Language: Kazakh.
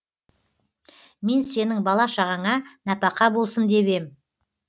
мен сенің бала шағаңа нәпақа болсын деп ем